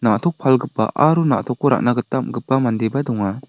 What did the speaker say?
na·tok palgipa aro na·tokko ra·na gita am·gipa mandeba donga.